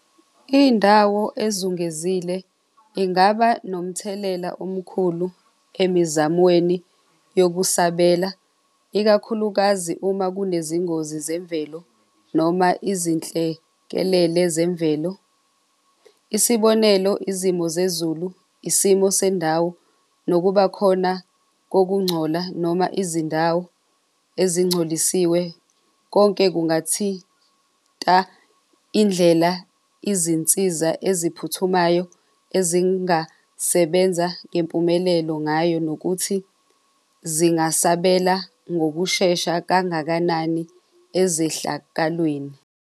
Indawo ezungezile ingaba nomthelela omkhulu emizamweni yokusabela, ikakhulukazi uma kunezingozi zemvelo noma izinhlekelele zemvelo. Isibonelo, izimo zezulu, isimo sendawo nokubakhona kokungcola noma izindawo ezingcolisiwe. Konke kungathinta indlela izinsiza eziphuthumayo ezingasebenza ngempumelelo ngayo, nokuthi zingasabela ngokushesha kangakanani ezehlakalweni.